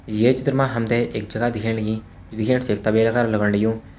ये चित्र मा हमथे एक जगा दिखेण लगीं जु दिखेण छि एक तबेला कार लगण लग्यूं।